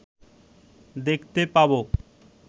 দেখতে পাব